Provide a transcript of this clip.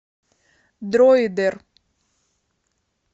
дроидер